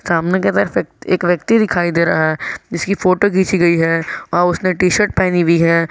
सामने के तरफ एक एक व्यक्ति दिखाई दे रहा है जिसकी फोटो घिंची गई है और उसने टी शर्ट पहनी हुई है।